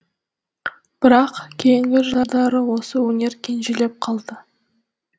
бірақ кейінгі жылдары осы өнер кенжелеп қалды